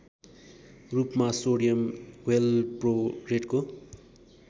रूपमा सोडियम वेलप्रोरेटको